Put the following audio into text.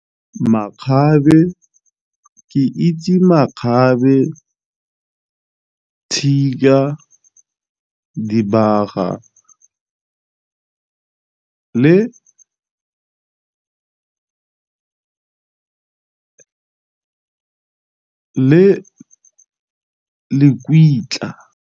Makgabe ke itse makgabe, , dibaga, le .